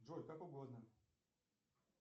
джой как угодно